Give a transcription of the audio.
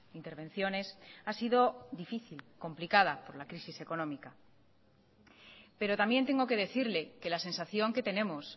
intervenciones ha sido difícil complicada por la crisis económica pero también tengo que decirle que la sensación que tenemos